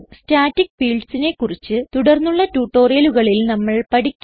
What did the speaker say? staticfieldsനെ കുറിച്ച് തുടർന്നുള്ള ട്യൂട്ടോറിയലുകളിൽ നമ്മൾ പഠിക്കും